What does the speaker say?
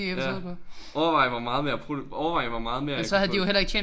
Ja. Overvej hvor meget mere overvej hvor meget mere jeg kunne få